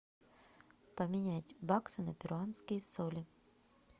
поменять баксы на перуанские соли